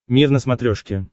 мир на смотрешке